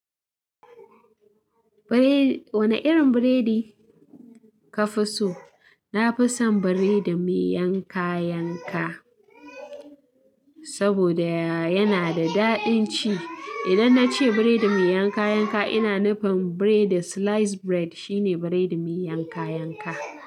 Biredi. Wane irin biredi ka fi so? Na fi son biredi mai yanka yanka, saboda yana da daɗin ci. Idan na ce biredi mai yanka yanka, ina nufin biredi slice bread shine biredi mai yanka yanka.